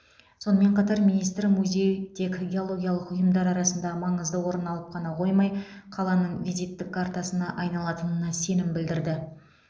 сонымен қатар министр музей тек геологиялық ұйымдар арасында маңызды орын алып қана қоймай қаланың визиттік картасына айналатынына сенім білдірді